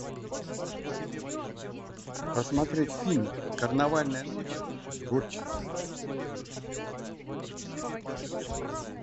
посмотреть фильм карнавальная ночь с гурченко